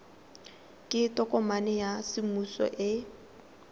ke tokomane ya semmuso e